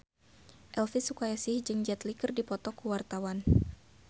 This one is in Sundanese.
Elvi Sukaesih jeung Jet Li keur dipoto ku wartawan